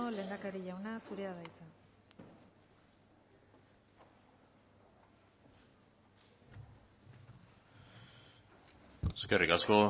lehendakari jauna zurea da hitza eskerrik asko